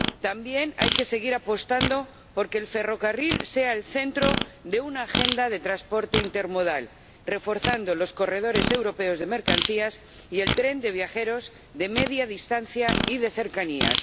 También hay que seguir apostando por que el ferrocarril sea el centro de una agenda de transporte intermodal, reforzando los corredores europeos de mercancías y el tren de viajeros de media distancia y de cercanías.